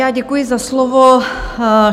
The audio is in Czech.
Já děkuji za slovo.